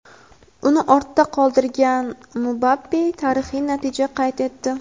uni ortda qoldirgan Mbappe tarixiy natija qayd etdi.